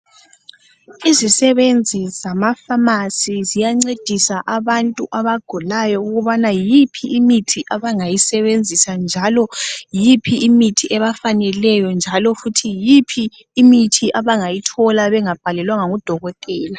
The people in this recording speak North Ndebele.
izisebenzi zama pharmacy ziyancedisa abantu abagulayo ukubana yiphi imithi abangayisebenzisa njalo yiphi imithi ebafaneleyo njalo futhi yiphi imithi abangayithola bengabhalelwanga ngu dokotela